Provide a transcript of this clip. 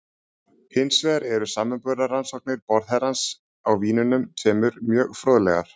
Hins vegar eru samanburðarrannsóknir borðherrans á vínunum tveimur mjög fróðlegar.